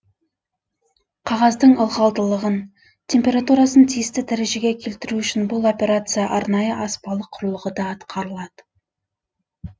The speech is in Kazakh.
қағаздың ылғалдылығын температурасын тиісті дәрежеге келтіру үшін бұл операция арнайы аспалы құрылғыда атқарылады